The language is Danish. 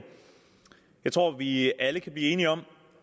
jeg tror vi alle kan blive enige om